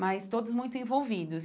mas todos muito envolvidos.